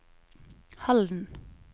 Halden